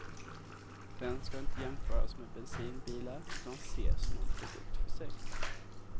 Den ska inte jämföras med bensinbilar utan ses som en produkt för sig.